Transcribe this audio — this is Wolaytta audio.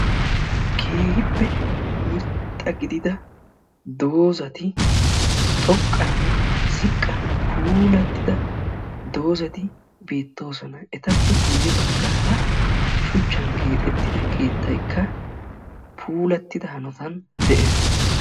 keehippe irxxa gidia doozati xoqqanne ziqqa puulatidda doozati beettoosona; etappe guyye baggara shuchchan keexxetid keettaykka puulatida hanotan de'ees.